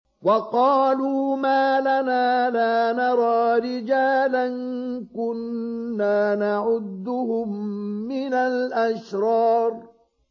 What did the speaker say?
وَقَالُوا مَا لَنَا لَا نَرَىٰ رِجَالًا كُنَّا نَعُدُّهُم مِّنَ الْأَشْرَارِ